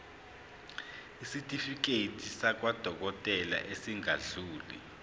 isitifiketi sakwadokodela esingadluli